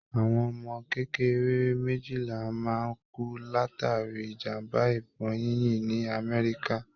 Àwọn ọmọ kékeré méjìlá máa ń kú látàrí ìjàmbá ìbọn yínyìn ní àmẹ́ríkà.